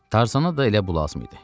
Tarzana da elə bu lazım idi.